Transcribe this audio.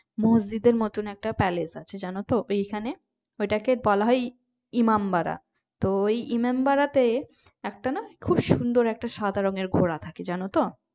মসজিদের মতো একটা palace আছে জানো তো ওইখানে ওইটাকে বলা হয় ইমামবারা। তো ওই ইমামবাড়াতে একটা না খুব সুন্দর একটা সাদা রংয়ের ঘোড়া থাকে জানো তো?